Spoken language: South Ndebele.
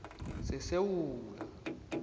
sesewula